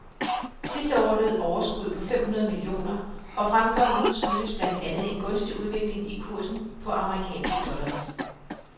Sidste år lød overskuddet på fem hundrede millioner, og fremgangen skyldes blandt andet en gunstig udvikling i kursen på amerikanske dollars.